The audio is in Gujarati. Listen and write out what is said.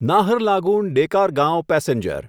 નાહરલાગુન ડેકારગાંવ પેસેન્જર